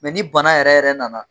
ni bana yɛrɛ yɛrɛ nana.